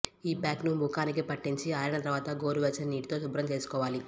ఈ ప్యాక్ ను ముఖానికి పట్టించి ఆరిన తర్వాత గోరు వెచ్చని నీటితో శుభ్రం చేసుకోవాలి